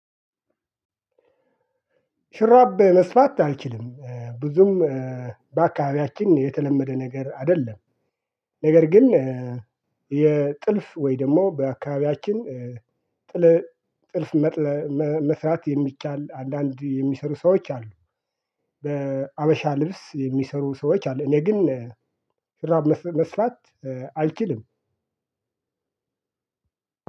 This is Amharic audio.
ሹራብ መስፋት አልችልም ብዙም በአካባቢያችን የተለመደ ነገር አይደለም። ነገር ግን የጥልፍ ወይ ደግሞ በአካባቢያችን ጥልፍ መስራት የሚቻል አንዳንድ የሚሰሩ ሰዎች አሉ። በሀበሻ ልብስ የሚሰሩ ሰዎች አሉ። እኔ ግን ሹራብ መስራት አልችልም።